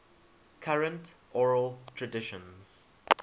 current oral traditions